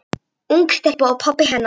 Ung stelpa og pabbi hennar.